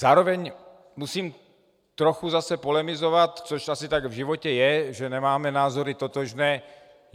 Zároveň musím trochu zase polemizovat, což asi tak v životě je, že nemáme názory totožné.